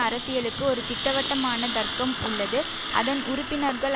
அரசியலுக்கு ஒரு திட்டவட்டமான தர்க்கம் உள்ளது அதன் உறுப்பினர்கள்